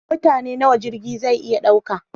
Mutane nawa jirgi zai iya ɗauka?